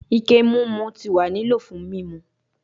Ike mimu ti wa ni lilo fun mimu